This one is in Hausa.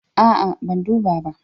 A'a, ban duba ba.